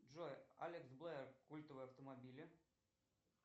джой алекс блэр культовые автомобили